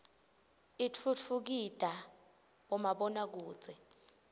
itfutfukida bomabona kudze